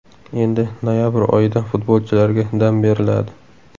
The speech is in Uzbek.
Endi, noyabr oyida futbolchilarga dam beriladi.